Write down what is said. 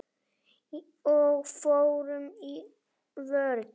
Og fórum í vörn.